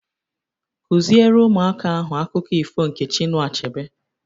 Kụziere ụmụaka ahụ akụkọ ifo nke Chinua Achebe!